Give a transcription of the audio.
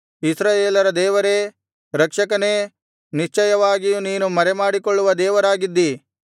ಇಸ್ರಾಯೇಲರ ದೇವರೇ ರಕ್ಷಕನೇ ನಿಶ್ಚಯವಾಗಿಯೂ ನೀನು ಮರೆಮಾಡಿಕೊಳ್ಳುವ ದೇವರಾಗಿದ್ದೀ